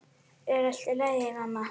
Er allt í lagi, mamma?